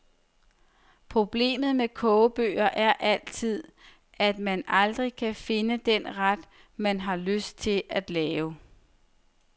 Problemet med kogebøger er altid, at man aldrig kan finde den ret, man har lyst til at lave.